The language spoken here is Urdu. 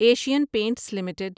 Asian paints limited